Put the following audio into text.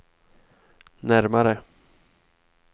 närmare